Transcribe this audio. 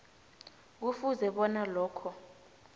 kufuze bona lokho